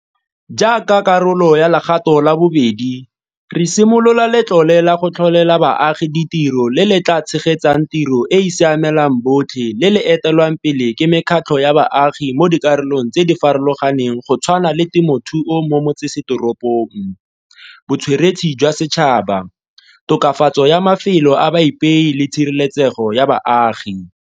Jaaka karolo ya legato la bobedi, re simolola Letlole la go Tlholela Baagi Ditiro le le tla tshegetsang tiro e e siamelang botlhe le le etelelwang pele ke mekgatlho ya baagi mo dikarolong tse di farologaneng go tshwana le temothuo mo metsesetoropong, botsweretshi jwa setšhaba, tokafatso ya mafelo a baipei le tshireletsego ya baagi.